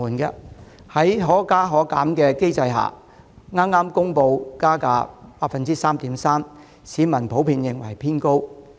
在票價可加可減機制下，港鐵又剛公布加價 3.3%， 市民普遍認為加幅偏高。